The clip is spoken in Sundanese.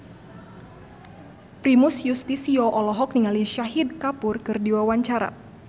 Primus Yustisio olohok ningali Shahid Kapoor keur diwawancara